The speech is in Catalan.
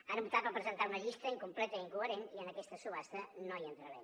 han optat per presentar una llista incompleta i incoherent i en aquesta subhasta no hi entrarem